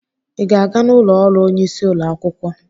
I ga-aga n'ụlọ ọrụ onyeisi ụlọ akwụkwọ?